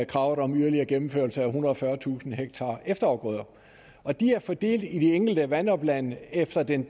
kravet om yderligere gennemførelse af ethundrede og fyrretusind hektar efterafgrøder og de er fordelt i de enkelte vandoplande efter den